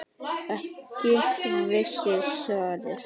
Ekki virt svars?